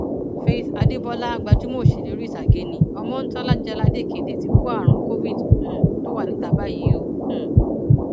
faith adébólà gbajúmọ òṣèré orí ìtàgé nni ọmọńtòlá jáládéèkéde ti kó àrùn covid um tó wà níta báyìí o um